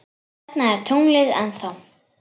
Þarna er tunglið ennþá.